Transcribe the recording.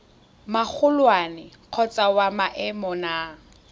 magolwane kgotsa wa maemo a